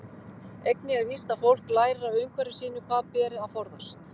Einnig er víst að fólk lærir af umhverfi sínu hvað beri að forðast.